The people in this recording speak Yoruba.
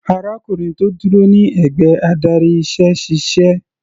Arákùnrin tó dúró ní ẹ̀gbẹ́ adarí iṣẹ́ ṣíṣe.